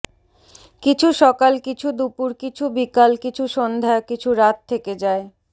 কিছু সকাল কিছু দুপুর কিছু বিকাল কিছু সন্ধ্যা কিছু রাত থেকে যায়